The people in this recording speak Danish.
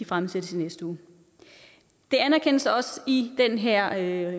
fremsat i næste uge det anerkendes også i den her